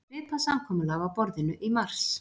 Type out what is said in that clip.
Svipað samkomulag á borðinu í mars